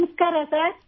ನಮಸ್ಕಾರ ಸರ್ |